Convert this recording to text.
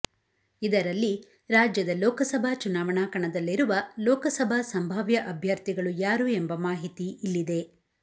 ಇದರಲ್ಲಿ ರಾಜ್ಯದ ಲೋಕಸಭಾ ಚುನಾವಣಾ ಕಣದಲ್ಲಿರುವ ಲೋಕಸಭಾ ಸಂಭಾವ್ಯ ಅಭ್ಯರ್ಥಿಗಳು ಯಾರು ಎಂಬ ಮಾಹಿತಿ ಇಲ್ಲಿದೆ